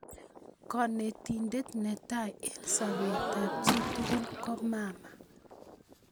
Konetindet netai eng sobetab chitugul ko mama